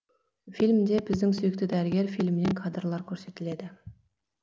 фильмде біздің сүйікті дәрігер фильмінен кадрлар көрсетіледі